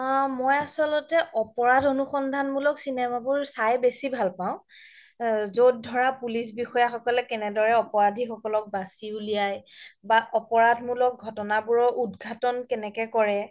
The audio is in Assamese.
মই আচল্তে অপৰাধ অনুসন্ধান মুলক চিনেমা বোৰ চাই বেচি ভাল পাও য'ত ধৰা police বিষয়া সকলে কেনেদৰে অপৰাধি সকলক বাচি উলিয়াই বা অপৰাধ মুলক ঘতনা বোৰৰ উদ্ঘাটন কেনেকে কৰে